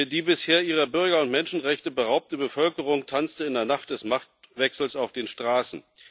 Die bisher ihrer Bürger und Menschenrechte beraubte Bevölkerung tanzte in der Nacht des Machtwechsels auf den Straßen.